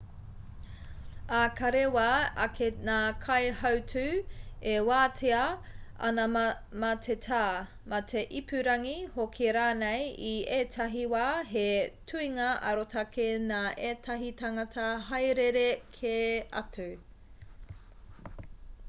ā ka rewa ake ngā kaihautū e wātea ana mā te tā mā te ipurangi hoki rānei i ētahi wā he tuhinga arotake nā ētahi tāngata haerere kē atu